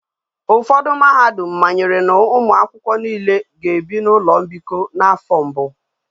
Ufodu mahadum mmanyere na umuakwukwo niile ga ebi na ulo mbiko na afo mbu